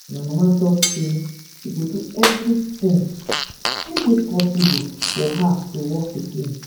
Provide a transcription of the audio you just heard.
my mama talk say she go do everything wey dey possible for her to walk again